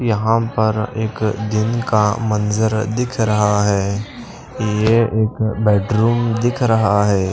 यहां पर एक दिन का मंजर दिख रहा है ये एक बेडरूम दिख रहा है।